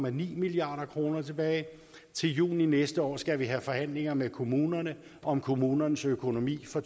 en milliard kroner tilbage til juni næste år skal vi have forhandlinger med kommunerne om kommunernes økonomi for